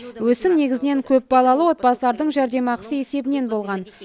өсім негізінен көпбалалы отбасылардың жәрдемақысы есебінен болған